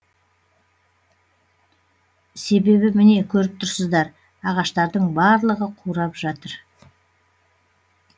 себебі міне көріп тұрсыздар ағаштардың барлығы қурап жатыр